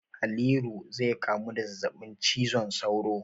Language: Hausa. Haliru zai kamu da zazzabin cizon sauro.